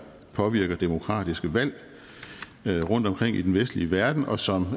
påvirker demokratiske valg rundtomkring i den vestlige verden og som